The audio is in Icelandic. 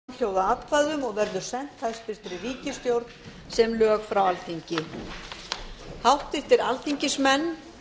atkvæðagreiðslunni er lokið frumvarpið er samþykkt með fjörutíu og níu samhljóða atkvæðum og verður sent hæstvirt ríkisstjórn sem lög frá alþingi háttvirtir alþingismenn